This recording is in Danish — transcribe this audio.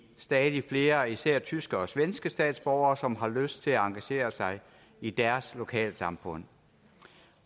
stadig flere især tyske og svenske statsborgere som har lyst til at engagere sig i deres lokalsamfund